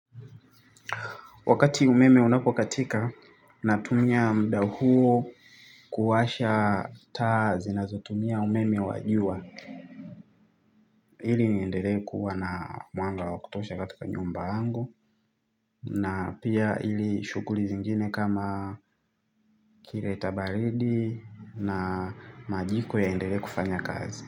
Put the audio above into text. Wakati umeme unapokatika, natumia muda huo kuwasha taa zinazotumia umeme wa jua. Ili niendele kuwa na mwanga wa kutosha katika nyumba yangu na pia ili shughuli zingine kama kiletabaridi na majiko yaendelee kufanya kazi.